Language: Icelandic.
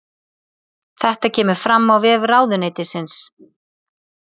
Þetta kemur fram á vef ráðuneytisins